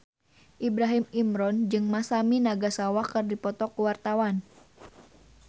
Ibrahim Imran jeung Masami Nagasawa keur dipoto ku wartawan